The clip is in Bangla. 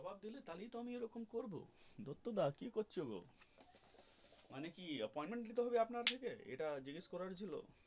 জব্বার দিলে তাহলে তো এই রকম করবো দত্তদা কি করছো মানে কি appoint নিতে হবে আপনার থেকে এইটা জিজ্ঞাস করার ছিল.